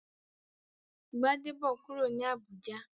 Gbadebo n kúrò ní Abùjá